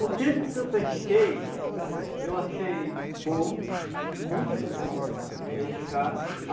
O tempo que eu pesquei, eu achei bom, muito bom pescar.